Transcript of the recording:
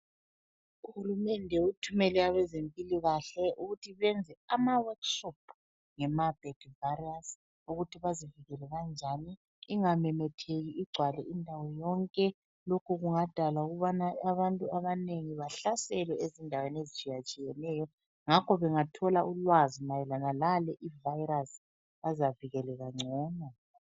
Uhulumende uthumele abezempilakahle ukuthi benze amaworkshop ngeMarburg virus ukuthi bazivikele kanjani, ingamemetheki igcwale indawo yonke . Lokhu kungadala ukubana abantu abanengi bahlaselwe ezindaweni ezitshiyatshiyeneyo ngakho bangathola ulwazi mayelana ngale ivirus bazavikeleka ngcono.